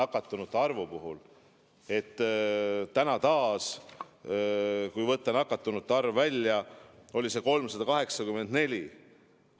Kui võtta tänane nakatunute arv välja, siis see oli 384.